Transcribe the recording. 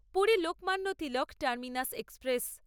Puri Lokmanya Tilak terminus express